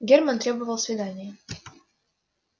германн требовал свидания